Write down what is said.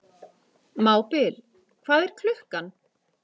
Mábil, hvað er klukkan?